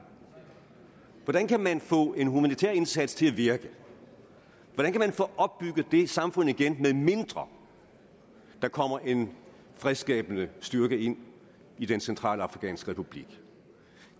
hvordan kan man få en humanitær indsats til at virke hvordan kan man få opbygget det samfund igen medmindre der kommer en fredsskabende styrke ind i den centralafrikanske republik